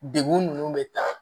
Degun ninnu bɛ ta